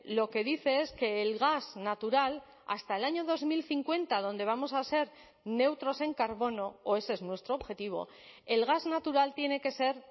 lo que dice es que el gas natural hasta el año dos mil cincuenta donde vamos a ser neutros en carbono o ese es nuestro objetivo el gas natural tiene que ser